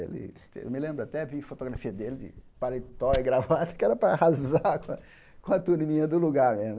Ele eu me lembro até ver fotografia dele de paletó e gravada, que era para arrasar com a com a turminha do lugar mesmo.